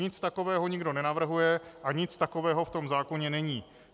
Nic takového nikdo nenavrhuje a nic takového v tom zákoně není.